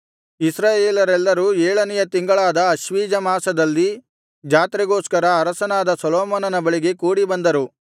ಇಸ್ರಾಯೇಲರೆಲ್ಲರೂ ಏಳನೆಯ ತಿಂಗಳಾದ ಆಶ್ವೀಜ ಮಾಸದಲ್ಲಿ ಜಾತ್ರೆಗೋಸ್ಕರ ಅರಸನಾದ ಸೊಲೊಮೋನನ ಬಳಿಗೆ ಕೂಡಿಬಂದರು